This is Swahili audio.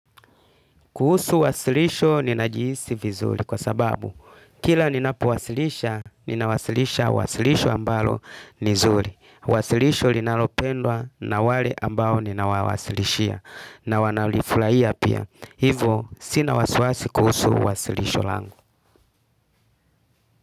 Kuhusu wasilisho ninajiisi vizuri kwa sababu kila ninapowasilisha ninawasilisha wasilisho ambalo ni zuri. Wasilisho linalopendwa na wale ambao ninawawasilishia na wanalifulahia pia. Hivo sina wasiwasi kuhusu wasilisho lango.